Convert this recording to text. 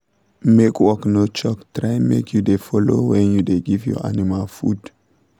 make work no choke try make u dey follow when you da give your animal food